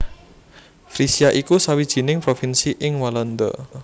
Frisia iku sawijining provinsi ing Walanda